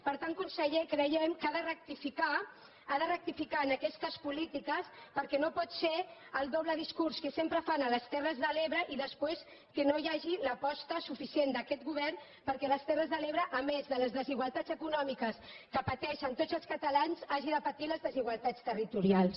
per tant conseller creiem que ha de rectificar ha de rectificar en aquestes polítiques perquè no pot ser el doble discurs que sempre fan a les terres de l’ebre i després que no hi hagi l’aposta suficient d’aquest go·vern perquè les terres de l’ebre a més de les desi·gualtats econòmiques que pateixen tots els catalans hagin de patir les desigualtats territorials